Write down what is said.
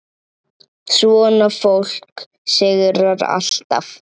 Svona fólk sigrar alltaf.